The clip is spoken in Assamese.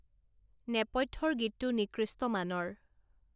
নেপথ্যৰ গীতটো নিকৃষ্ট মানৰ